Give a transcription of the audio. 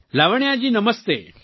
Lavanya ji Namaste